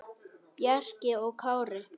Bjarki og Kári.